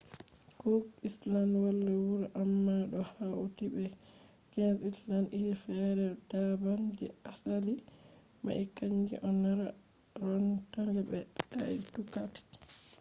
cook island wala wuro amma ɗo hauti be 15 islands iri fere daban. je asali mai kanje on rarotonga be aitutaki